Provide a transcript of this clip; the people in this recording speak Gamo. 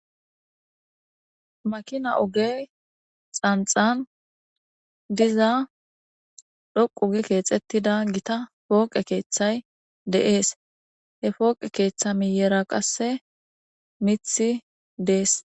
Makina ogey xanxan diza dhoqu gi keexettida gita pooqe keeththay deees he fooqe keeththa miyera qasse mithi dees.